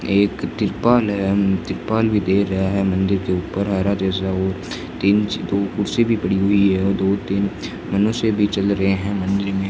एक तिरपाल है तिरपाल भी दे रहा है मंदिर के ऊपर आ रहा है जैसा वो तीन दो कुर्सी भी पड़ी हुई है और दो तीन मनुष्य भी चल रहे हैं मंदिर में।